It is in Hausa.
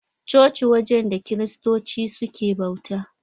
Coci wajen da Kiristoci suke bauta.